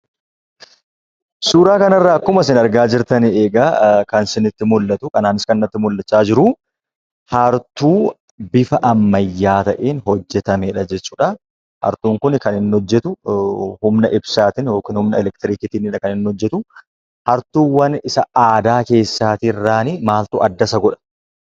Suuraa kanarraa akkuma isin argaa jirtan egaa kan isinitti mul'atu anaanis kan natti mul'achaa jiruu, hartuu bifa ammayyaa ta'een hojjatameedha jechuudha. Hartuun kun kan inni hojjatu humna ibsaatiin yookiin humna elektrikiitiinidha kan inni hojjatu. Hartuuwwan isa kan aadaa irraa maaltu adda isa godhaa?